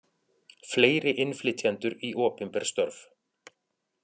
Fleiri innflytjendur í opinber störf